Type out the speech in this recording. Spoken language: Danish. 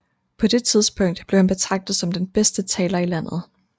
På det tidspunkt blev han betragtet som den bedste taler i landet